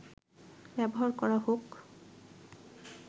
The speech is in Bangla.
ব্যবহার করা হোক